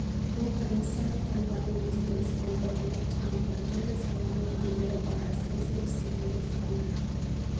бұл комиссияның құрылғаны өте дұрыс болды оның құрамында түрлі саланың өкілдері бар әсіресе біз секілді диқандар